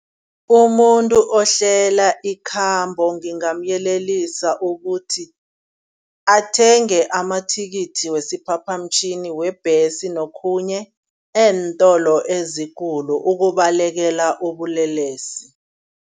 Umuntu ohlela ikhambo ngingamyelelisa ukuthi. Athenge amathikithi wesiphaphamtjhini, webhesi nokhunye eentolo ezikulu ukubalekela ubulelesi.